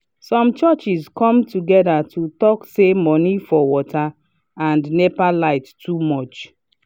some churches come to gether to talk say money for water and nepa light too much